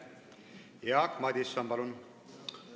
Jaak Madison, palun!